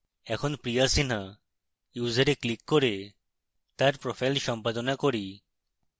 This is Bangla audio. এখন priya sinha ইউসারে click করে তার profile সম্পাদনা করি